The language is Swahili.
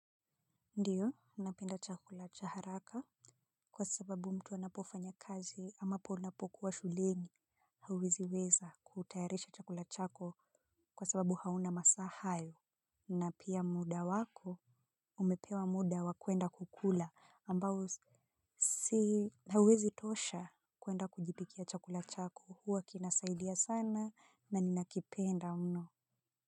Ndiyo napenda chakula cha haraka kwa sababu mtu anapofanya kazi ambapo unapokuwa shulingi. Hawizi weza kutayarisha chakula chako kwa sababu hauna masaa hayo. Na pia muda wako umepewa muda wakuenda kukula ambao si hauwezi tosha kuenda kujipikia chakula chako huwa kinasaidia sana na ninakipenda mno.